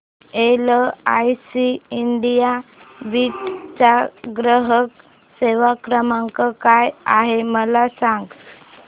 LIC India Beed चा ग्राहक सेवा क्रमांक काय आहे मला सांग